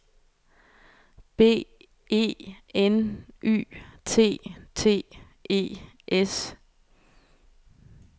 B E N Y T T E S